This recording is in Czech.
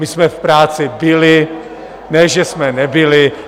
My jsme v práci byli, ne že jsme nebyli.